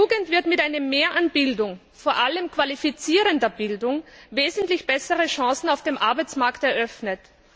Der Jugend w mit einem Mehr an Bildung vor allem qualifizierender Bildung wesentlich bessere Chancen auf dem Arbeitsmarkt eröffnet.